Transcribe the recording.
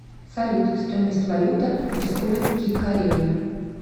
салют стоимость валюта республики корея